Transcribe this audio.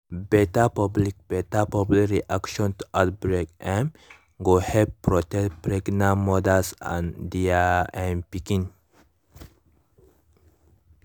better public better public reaction to outbreak um go help protect pregnant mothers and their um pikin